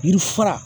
Yiri fura